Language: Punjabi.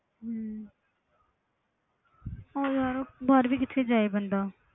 ਹਮ ਹੋਰ ਯਾਰ ਬਾਹਰ ਵੀ ਕਿੱਥੇ ਜਾਏ ਬੰਦਾ।